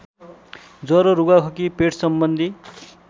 ज्वरो रुघाखोकी पेटसम्बन्धी